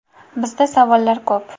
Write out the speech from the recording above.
Bizda savollar ko‘p.